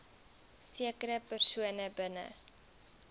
sekere persone binne